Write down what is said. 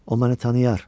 O məni tanıyır.